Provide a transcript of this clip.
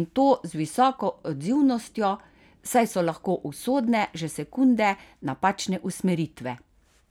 in to z visoko odzivnostjo, saj so lahko usodne že sekunde napačne usmeritve.